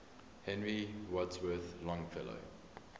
henry wadsworth longfellow